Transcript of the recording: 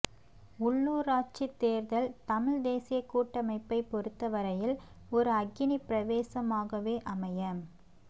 உள்ளூராட்சித் தேர்தல் தமிழ்த் தேசியக் கூட்டமைப்பைப் பொறுத்த வரையில் ஒரு அக்கினிப் பிரவேசமாகவே அமையப்